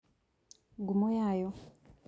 Ngumo yayo